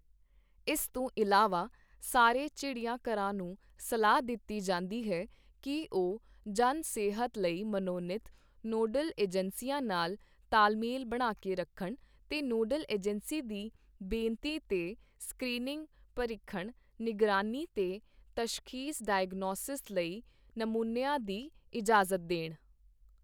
ਇਸ ਤੋਂ ਇਲਾਵਾ ਸਾਰੇ ਚਿੜੀਆਘਰਾਂ ਨੂੰ ਸਲਾਹ ਦਿੱਤੀ ਜਾਂਦੀ ਹੈ ਕਿ ਉਹ ਜਨ ਸਿਹਤ ਲਈ ਮਨੋਨੀਤ, ਨੋਡਲ ੲਜੰਸੀਆਂ ਨਾਲ ਤਾਲਮੇਲ ਬਣਾ ਕੇ ਰੱਖਣ ਤੇ ਨੋਡਲ ਏਜੰਸੀ ਦੀ ਬੇਨਤੀ ਤੇ ਸਕ੍ਰੀਨਿੰਗ, ਪਰੀਖਣ, ਨਿਗਰਾਨੀ ਤੇ ਤਸ਼ਖੀਸ ਡਾਇਓਗਨੌਸਿਸ ਲਈ ਨਮੂਨਿਆਂ ਦੀ ਇਜਾਜ਼ਤ ਦੇਣ।